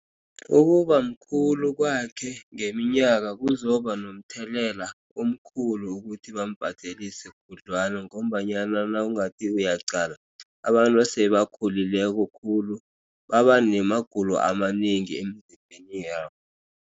Ukubamkhulu kwakhe ngeminyaka kuzoba nomthelela omkhulu ukuthi bambhadelise khudlwana ngombanyana nawungathi uyaqala abantu esebakhulileko khulu baba namagulo amanengi emzimbeni yabo.